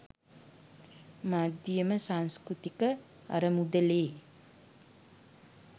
මධ්‍යම සංස්කෘතික අරමුදලේ